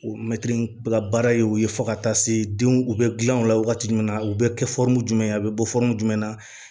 O mɛtiri bɛ ka baara ye o ye fo ka taa se denw u bɛ dilan o la wagati jumɛn na u bɛ kɛ jumɛn ye a bɛ bɔ jumɛn na